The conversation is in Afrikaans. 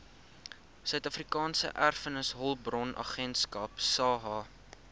suidafrikaanse erfenishulpbronagentskap saeha